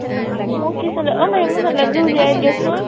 মই কি sandal, অ মই amazon এই যোৰ ওলিয়াই দিয়ক্চোন।